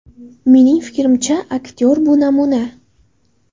Mening fikrimcha, aktyor bu namuna.